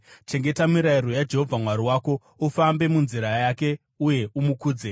Chengeta mirayiro yaJehovha Mwari wako, ufambe munzira dzake uye umukudze.